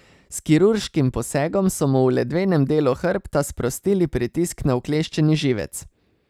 S kirurškim posegom so mu v ledvenem delu hrbta sprostili pritisk na ukleščeni živec.